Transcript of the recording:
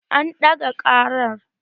An ɗaga ƙarar